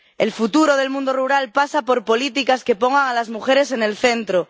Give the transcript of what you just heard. El futuro del mundo rural pasa por políticas que pongan a las mujeres en el centro.